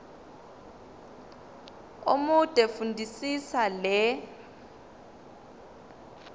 omude fundisisa le